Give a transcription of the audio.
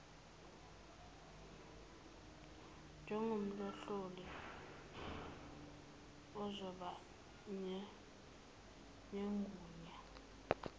njengomhloli ozoba negunya